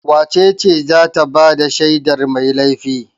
Wace ce za ta ba da shaidar mai laifi?